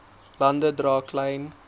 lande dra klein